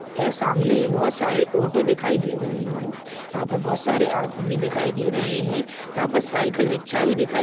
यह सामने बहुत सारे ऑटो दिखाई दे रहे है यहाँ पर बहुत सारे आदमी भी दिखाई दे रहे है यहाँ पर साईकल रिक्छा भी दिखाई--